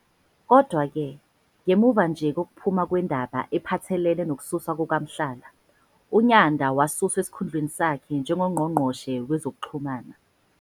Kodwa-ke, ngemuva nje kokuphuma kwendaba ephathelene nokususwa kukaMohlala, uNyanda wasuswa esikhundleni sakhe njengoNgqongqoshe Wezokuxhumana.